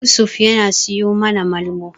Yusuf yana siyo mana Malmo.